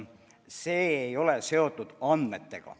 Need ei ole seotud andmetega.